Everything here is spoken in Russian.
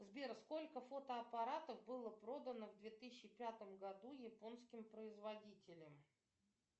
сбер сколько фотоаппаратов было продано в две тысячи пятом году японским производителем